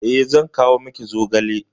Eh, zan kawo miki zogale.